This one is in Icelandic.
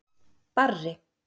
Barri